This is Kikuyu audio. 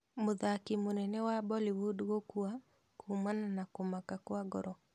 Mũthaki mũnene wa Bollywood gũkua kuumana na kũmaka kwa ngoro